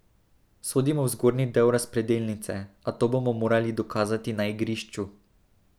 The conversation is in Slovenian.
Sodimo v zgornji del razpredelnice, a to bomo morali dokazati na igrišču.